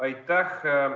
Aitäh!